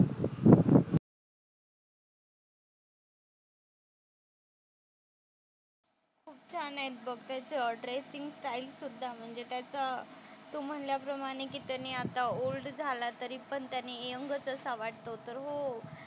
खूप छान आहेत बघ त्याचे ड्रेसिंग स्टाईल सुद्धा म्हणजे त्याचा तू म्हणल्याप्रमाणे की त्याने आता ओल्ड झाला तरी पण त्याने यंगच असा वाटतो. तर हो,